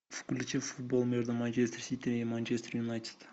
включи футбол между манчестер сити и манчестер юнайтед